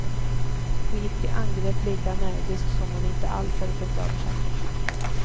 Hon gick till angrepp lika energiskt som om hon inte alls hade tänkt över saken.